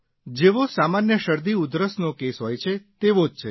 જેઓ સામાન્ય શરદી ઉધરસનો કેસ હોય છે તેવો જ છે